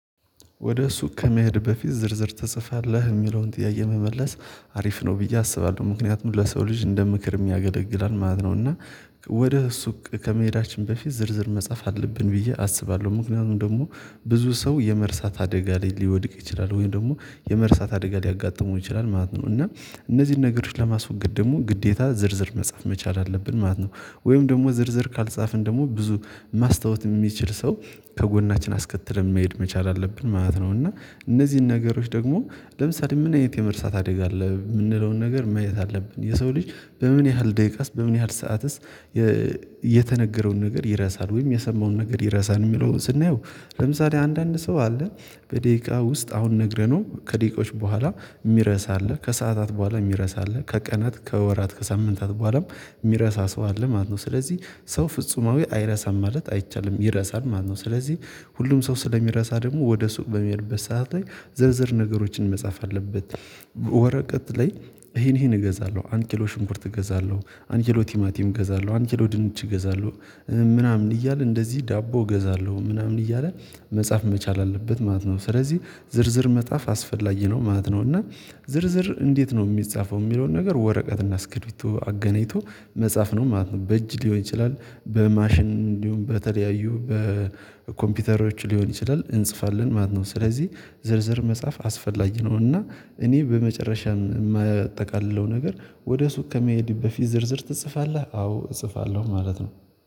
ወደ ሱቅ ከመሄድ በፊት ዝርዝር ተጽፋለህ የሚለውን ጥያቄ መመለስ አሪፍ ነው ብዬ አስባለሁ ምክንያቱም ለሰው ልጅ እንደ ምክር የሚያገለግላል ማለት ነው። እና ወደ ሱቅ ከመሄዳችን በፊት ዝርዝር መጻፍ አለብን ብዬ አስባለሁ ምክንያቱም ደግሞ ብዙ ሰው የመርሳት አደጋ ላይ ሊወድቅ ይችላል ወይም ደግሞ የመርሳት አደጋ ሊያጋጥመው ይችላል ማለት ነው። እና እነዚህን ነገሮች ለማስወገድ ደግሞ ግዴታ ዝርዝር መጻፍ መቻል አለብን ማለት ነው። ወይም ደግሞ ዝርዝር ካልጻፍን ደግሞ ብዙ ማስታወስ የሚችል ሰው ከጎናችን አስከትለን መሄድ መቻል አለብን ማለት ነው። እና እነዚህን ነገሮች ደግሞ ለምሳሌ ምን አይነት የመርሳት አደጋ አለ የምንለውን ነገር ማየት አለብን የሰው ልጅ በምን ያህል ደቂቃስ በምን ያህል ሰዓትስ? የተነገረውን ነገር ይረሳል ወይም የሰማውን ነገር ይረሳል የሚለውን ስናየው። ለምሳሌ አንዳንድ ሰው አለን በደቂቃ ውስጥ አሁን ነግረነው ከደቂቃዎች በኋላ የሚረሳ አለ ከሰአታት በኋላ የሚረሳ አለ ከቀናት ከወራት ከሳምንታት በኋላም የሚረሳ ሰው አለ ማለት ነው። ስለዚህ ሰው ፍጹማዊ አይረሳም ማለት አይቻልም ይረሳል ማለት ነው። ስለዚህ ሁሉም ሰው ስለሚረሳ ደግሞ ወደ ሱቅ በሚሄድበት ሰዓት ላይ ዝርዝር ነገሮችን መጻፍ አለበት። ወረቀት ላይ ይሄን ይሄን እገዛለሁ አንድ ኪሎ ሽንኩርት እገዛለሁ አንድ ኪሎ ቲማቲም እገዛለሁ አንድ ኪሎ ድንች እገዛለሁ። ምናምን እያለ እንደዚህ ዳቦ እገዛለሁ ምናምን እያለ መጻፍ መቻል አለበት ማለት ነው። ስለዚህ ዝርዝር መጽሐፍ አስፈላጊ ነው ማለት ነው። እና ዝርዝር እንዴት ነው የሚጻፈው የሚለውን ነገር ወረቀትና እስክሪብቶ አገናይቶ መጻፍ ነው ማለት ነው። በእጅ ሊሆን ይችላል በማሽን እንዲሁም በተለያዩ በኮምፒውተሮች ሊሆን ይችላል እንጽፋለን ማለት ነው። ስለዚህ ዝርዝር መጻፍ አስፈላጊ ነው። እና እኔ በመጨረሻም የማጠቃልለው ነገር ወደ ሱቅ ከመሄድ በፊት ዝርዝር ትጽፋለህ አዎ እጽፋለሁ ማለት ነው